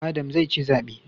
Adam zai ci zabe